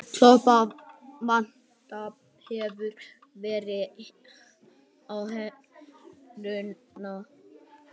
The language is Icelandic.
Klórblandað vatn hefur áhrif á heilsuna